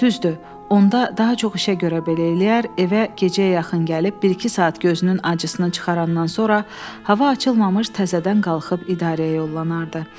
Düzdür, onda daha çox işə görə belə eləyər, evə gecəyə yaxın gəlib bir-iki saat gözünün acısını çıxarandan sonra hava açılmamış təzədən qalxıb idarəyə yollanardı.